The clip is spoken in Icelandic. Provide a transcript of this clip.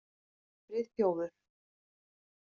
Friðþjófur